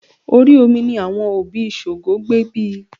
Orí omi ní àwọn òbí Ṣògo gbé bí i